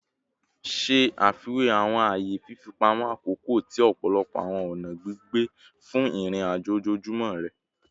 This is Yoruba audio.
Ṣe afiwe awọn aaye fifipamọ akoko ti ọpọlọpọ awọn ọna gbigbe fun irin-ajo ojoojumọ rẹ